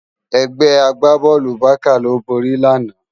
Ègbè àgbábòlú Bàká ló bóri làná